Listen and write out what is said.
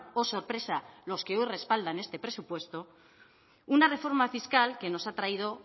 oh sorpresa los que hoy respaldan este presupuesto una reforma fiscal que nos ha traído